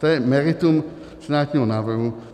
To je meritum senátního návrhu.